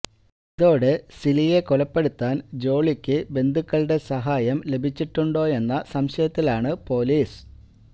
ഇതോടെ സിലിയെ കൊലപ്പെടുത്താന് ജോളിക്ക് ബന്ധുക്കളുടെ സഹായം ലഭിച്ചിട്ടുണ്ടോയെന്ന സംശയത്തിലാണ് പോലീസ്